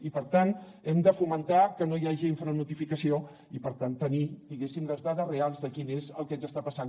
i per tant hem de fomentar que no hi hagi infranotificació i per tant tenir diguéssim les dades reals de quin és el que ens està passant